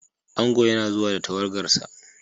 Ango yana zuwa da tawagarsa.